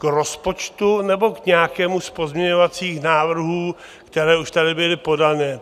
K rozpočtu, nebo k nějakému z pozměňovacích návrhů, které už tady byly podané?